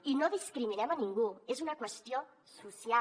i no discriminem a ningú és una qüestió social